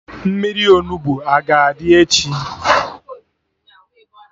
Mmiri Onugbu a ga-adị echi?